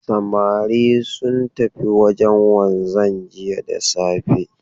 Samari sun tafi wajen wanzan jiya da safe.